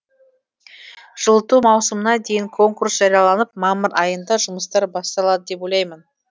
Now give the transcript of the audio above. жылыту маусымына дейін конкурс жарияланып мамыр айында жұмыстар басталады деп ойлаймын